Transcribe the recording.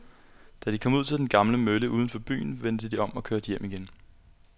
Da de var kommet ud til den gamle mølle uden for byen, vendte de om og kørte hjem igen.